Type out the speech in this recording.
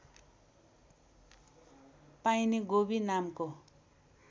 पाइने गोबी नामको